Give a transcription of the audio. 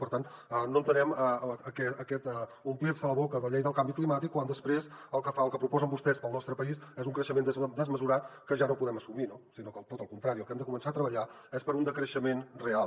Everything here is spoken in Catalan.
per tant no entenem aquest omplir se la boca amb la llei del canvi climàtic quan després el que proposen vostès per al nostre país és un creixement desmesurat que ja no podem assumir no sinó que tot el contrari el que hem de començar a treballar és per un decreixement real